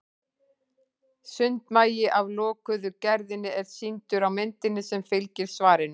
Sundmagi af lokuðu gerðinni er sýndur á myndinni sem fylgir svarinu.